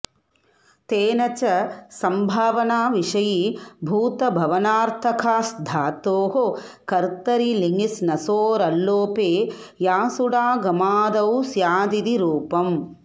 तेन च संभावनाविषयीभूतभवनार्थकाऽस्धातोः कर्तरि लिङि श्नसोरल्लोपे यासुडागमादौ स्यादिति रूपम्